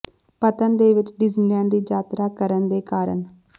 ਪਤਨ ਦੇ ਵਿਚ ਡਿਜ਼ਨੀਲੈਂਡ ਦੀ ਯਾਤਰਾ ਕਰਨ ਦੇ ਕਾਰਨ